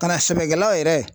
Ka na sɛbɛkɛlaw yɛrɛ